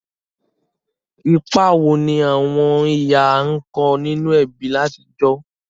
Ìpa wo ni àwon ìyá n ko ninú ebí látijọ̀?